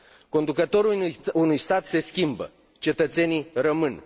Conducătorul unui stat se schimbă, cetățenii rămân.